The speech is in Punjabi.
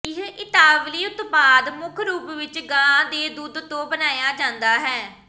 ਇਹ ਇਤਾਲਵੀ ਉਤਪਾਦ ਮੁੱਖ ਰੂਪ ਵਿੱਚ ਗਾਂ ਦੇ ਦੁੱਧ ਤੋਂ ਬਣਾਇਆ ਜਾਂਦਾ ਹੈ